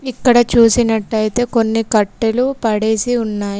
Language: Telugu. ఇక్కడ చూసినట్టయితే కొన్ని కట్టెలు పడేసి ఉన్నాయి.